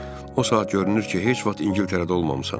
O saat görünür ki, heç vaxt İngiltərədə olmamısan.